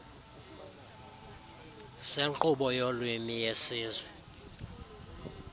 senkqubo yolwimi yesizwe